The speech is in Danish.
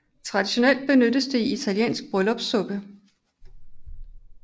Traditionelt benyttes det i italiensk bryllupssuppe